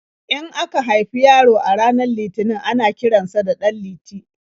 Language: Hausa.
In aka haifi yaro a ranar Litinin ana kiran sa da 'Ɗanliti'.